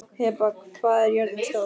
Heba, hvað er jörðin stór?